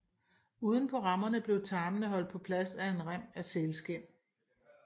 Uden på rammerne bliver tarmene holdt på plads af en rem af sælskind